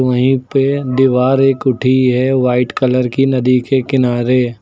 वहीं पे दीवार एक उठी है वाइट कलर की नदी के किनारे।